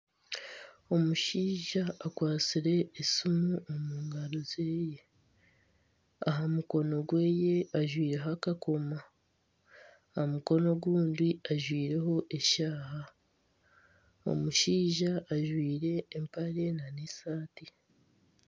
Omushaija akwatsire esiimu omu ngaro zeye aha mukono gweye ajwaireho akakomo aha mukono ogundi ajwaireho eshaaha. Omushaija ajwaire empare n'esaati.